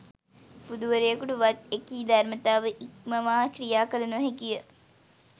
බුදුවරයකුට වත් එකී ධර්මතාව ඉක්මවා ක්‍රියා කළ නොහැකි ය.